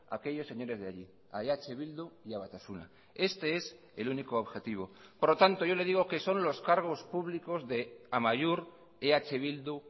a aquellos señores de allí a eh bildu y a batasuna este es el único objetivo por lo tanto yo le digo que son los cargos públicos de amaiur eh bildu